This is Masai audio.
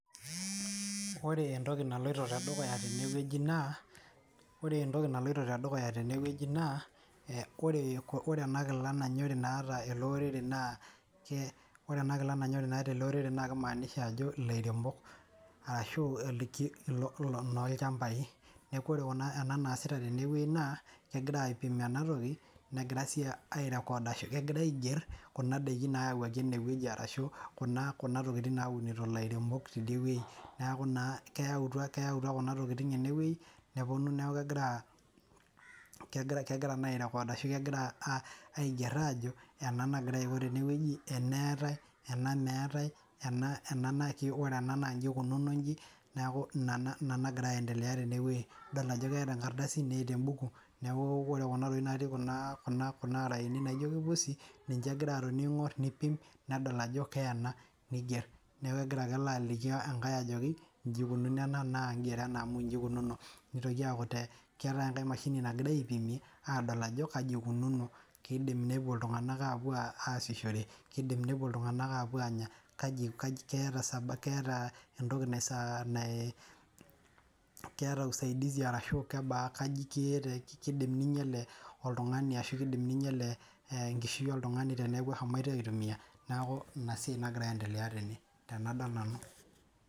Ore entoki naloito tedukuya na ore entoki anloito tedukuya naaore enakila nanyori naata eleorere naa kimaanisha ajo lairemok arashu nolchambai, tadua ena naasita tenewueji na kegira aipim enatoki negira si ai record kegira aiger kuna dakin nayawuaki enewueji neaku kuna tokitin naunito lairemok tidiewueji neaku na kila enkolong tenewueji neponu neaku kegira nai aiger ajo ena eetae ena meetae ena natiiore ena na nji ikununo nji neaku inanagira aendelea tenewueji ,idol ajo keeta embukuore kuna tokitin natii kuna araeni ninche egira aipim neaku ninche ikunono ena ngero ena nanchi ikununo neaku keetae oshi emashini nagirai aipimieajo akaja ikununo kidim ltunganak ashomo ataasishore kidim ltunganak nepuo keeta entoki ashu keeta usaidizi kaji iko ninyel oltungani ashu kinyel enkishui oltungani neaku inasiai nagira aendelea tene.